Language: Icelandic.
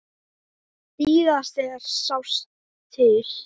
Síðast þegar sást til